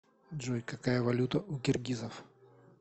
джой какая валюта у киргизов